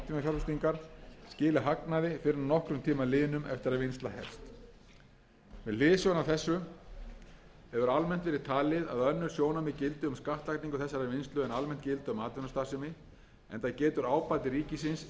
skili hagnaði fyrr en að nokkrum tíma liðnum eftir að vinnsla hefst með hliðsjón af þessu hefur almennt verið talið að önnur sjónarmið gildi um skattlagningu þessarar vinnslu en almennt gilda um atvinnustarfsemi enda getur ábati ríkisins verið mikill ef vel